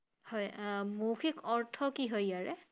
হয় আহ মৌখিক অৰ্থ কি হয় ইয়াৰে?